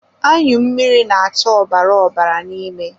Anyụ mmiri na-acha ọbara ọbara n'ime.